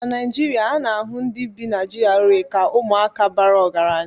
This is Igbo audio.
na Naijiria, ana-ahụ ndị bi na GRA ka ụmụaka bara ọgaranya